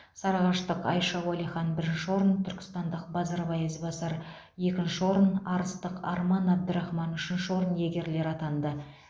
сарыағаштық айша уалихан бірінші орын түркістандық базарбай ізбасар екінші орын арыстық арман абдрахман үшінші орын иегерлері атанды